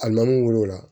A nan'u wolo o la